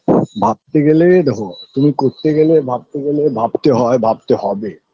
ভাবতে গেলে দেখো তুমি করতে গেলে ভাবতে গেলে ভাবতে হয় ভাবতে হবে